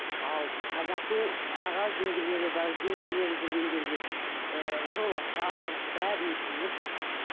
ал қазақтың аға жеңгелері бар жеңгелері жүрген жерде ыыы жолашар бәрін өткізіп